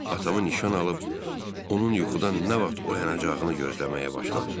Atamı nişan alıb onun yuxudan nə vaxt oyanacağını gözləməyə başladım.